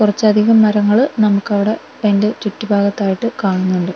കൊറച്ച് അധികം മരങ്ങള് നമുക്ക് അവിടെ അയിന്റെ ചുറ്റുപാട് ആയിട്ട് കാണുന്നുണ്ട് .